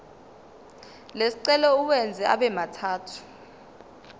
lesicelo uwenze abemathathu